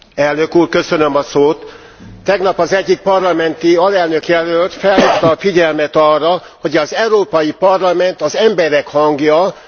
Tegnap az egyik parlamenti alelnökjelölt felhívta a figyelmet arra, hogy az Európai Parlament az emberek hangja, nem pedig a kormányok hangja.